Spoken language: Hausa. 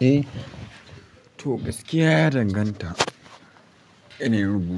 Eh, to gaskiya ya danganta. Ina yin